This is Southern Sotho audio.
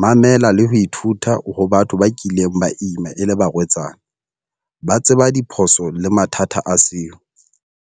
Mamela le ho ithuta ho batho ba kileng ba ima e le barwetsana. Ba tseba diphoso le mathata a seo.